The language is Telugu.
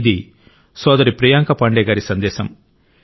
ఇది సోదరి ప్రియాంక పాండే గారి సందేశం